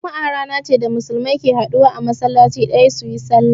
Juma'a rana ce da Musulmi ke haduwa a masallaci ɗaya su yi sallah.